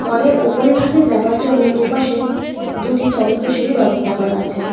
মলের ওপরে ভাগে যাবার জন্য দুপাশে দুটি চলন্ত সিঁড়ির ব্যবস্থা করা আছে।